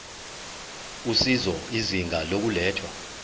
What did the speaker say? usizo izinga lokulethwa